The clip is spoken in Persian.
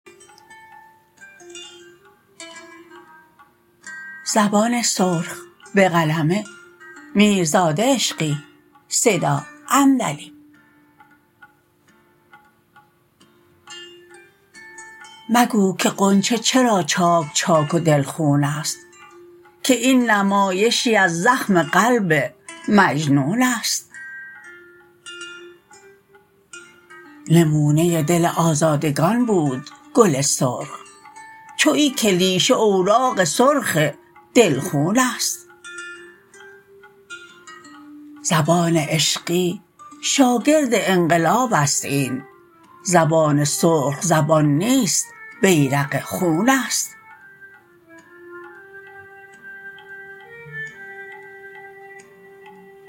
مگو که غنچه چرا چاکچاک و دل خون است که این نمایشی از زخم قلب مجنون است نمونه دل آزادگان بود گل سرخ چو این کلیشه اوراق سرخ دل خون است زبان عشقی شاگرد انقلاب است این زبان سرخ زبان نیست بیرق خون است